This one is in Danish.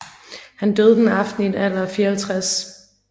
Han døde den aften i en alder af 54